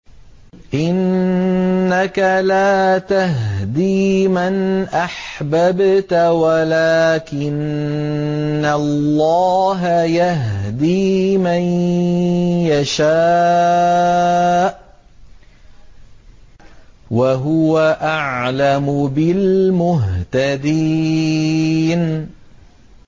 إِنَّكَ لَا تَهْدِي مَنْ أَحْبَبْتَ وَلَٰكِنَّ اللَّهَ يَهْدِي مَن يَشَاءُ ۚ وَهُوَ أَعْلَمُ بِالْمُهْتَدِينَ